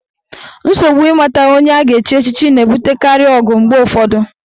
Nsogbu ịmata onye a ga-echi echichi na-ebutekarị ọgụ mgbe ụfọdụ.